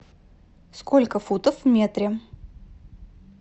сколько футов в метре